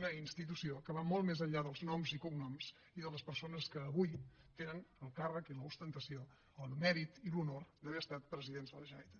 una institució que va molt més enllà dels noms i cognoms i de les persones que avui tenen el càrrec i l’ostentació el mèrit i l’honor d’haver estat presidents de la generalitat